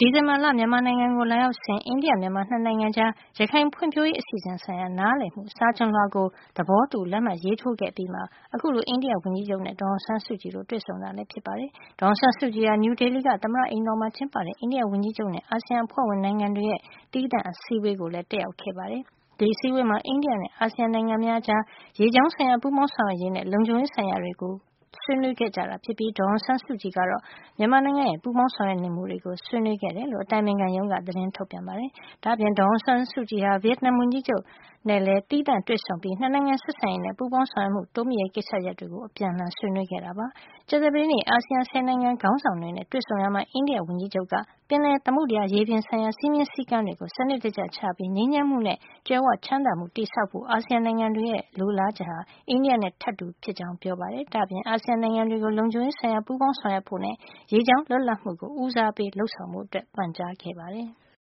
ဒီဇင်ဘာက မြန်မာနိုင်ငံကို လာရောက်စဉ် အိန္ဒိယ- မြန်မာ ၂ နိုင်ငံကြား ရခိုင်ဖွံ့ဖြိုးရေး အစီအစဉ်ဆိုင်ရာ နားလည်မှု စာချွန်လွှာကို သဘောတူ လက်မှတ်ရေးထိုးခဲ့အပြီးမှာ အခုလို အိန္ဒိယဝန်ကြီးချုပ် နဲ့ ဒေါ်အောင်ဆန်းစုကြည်တို့ တွေ့ဆုံတာ လည်းဖြစ်ပါတယ်။ ဒေါ်အောင်ဆန်းစုကြည်ဟာ နယူးဒေလီက သမ္မတအိမ်တော်မှာ ကျင်းပတဲ့ အိန္ဒိယ ဝန်ကြီးချုပ်နဲ့အာဆီယံ အဖွဲ့ဝင်နိုင်ငံတွေရဲ့ သီးသန့် အစည်းအဝေးကို တက်ရောက်ခဲ့ပါတယ်။ ဒီအစည်းအဝေးမှာ အိန္ဒိယနဲ့ အာဆီယံနိုင်ငံ များအကြား ရေကြောင်းဆိုင်ရာ ပူးပေါင်း ဆောင်ရွက်ရေးနှင့် လုံခြုံရေးဆိုင်ရာ ဆွေးနွေးခဲ့ကြပြီး ဒေါ်အောင်ဆန်းစုကြည်ကတော့ မြန်မာနိုင်ငံရဲ့ ပူးပေါင်းဆောင်ရွက်နေမှုတွေကို ဆွေးနွေးခဲ့တယ်လို့ အတိုင်ပင်ခံရုံးက သတင်းထုတ်ပြန်ပါတယ်။ ဒါ့ပြင် ဒေါ်အောင်ဆန်းစုကြည်ဟာ ဗီယက်နမ်ဝန်ကြီးချုပ် မစ္စတာ ငုယင်တန်ဇွန်းနဲ့ပါ သီးသန့်တွေ့ဆုံပြီး နှစ်နိုင်ငံ ဆက်ဆံရေးနဲ့ ပူးပေါင်းဆောင်ရွက်မှု တိုးမြှင့်ရေး ကိစ္စရပ်တွေကို အပြန်အလှန် ဆွေးနွေးခဲ့တယ်လို့ ဆိုပါတယ်။ ကြာသပတေးနေ့ အာဆီယံ ဆယ်နိုင်ငံခေါင်းဆောင်တွေနဲ့ တွေ့ဆုံရာမှာ အိန္ဒိယဝန်ကြီးချုပ်က ပင်လယ်၊ သမုဒ္ဒရာရေပြင်ဆိုင်ရာ စည်းမျဉ်းစည်းကမ်းတွေ စံနစ်တကျချပြီး ငြိမ်းချမ်းမှုနဲ့ ကြွယ်ဝချမ်းသာမှုကို တည်ဆောက်ဖို့ အာဆီယံနိုင်ငံတွေရဲ့ အမြင်ဟာ အိန္ဒိယနဲ့ ထပ်တူဖြစ်ကြာင်း ပြောကြားခဲ့ပါတယ်။ ဒါ့အပြင် အာဆီယံနိုင်ငံတွေကို လုံခြုံရေးဆိုင်ရာ ပူးပေါင်းဆောင်ရွက်ဖို့ နဲ့ ရေကြောင်း လွတ်လပ်မှုကို ဦးစားပေးလုပ်ဆောင်ဖို့ ပန်ကြားခဲ့ပါတယ်။